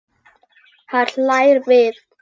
Hann hlær við.